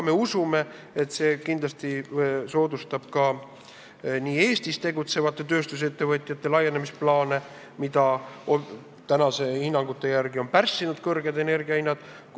Me usume ka, et see kindlasti soodustab Eestis tegutsevate tööstusettevõtete laienemisplaane, mida senistel hinnangutel on pärssinud kõrged energia hinnad.